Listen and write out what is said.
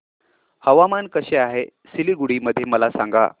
हवामान कसे आहे सिलीगुडी मध्ये मला सांगा